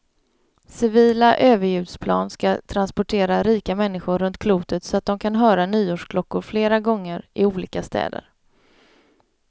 Civila överljudsplan ska transportera rika människor runt klotet så de kan höra nyårsklockor flera gånger, i olika städer.